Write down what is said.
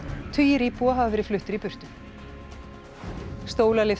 tugir íbúa hafa verið fluttir í burtu